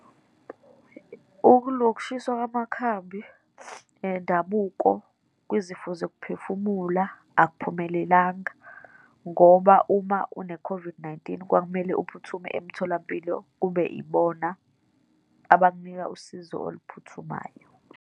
Ukushiswa kwamakhambi endabuko kwizifo zokuphefumula, akaphumelelanga ngoba uma une-COVID-19, kwakumele uphuthume emtholampilo, kube ibona abakunika usizo oluphuthumayo.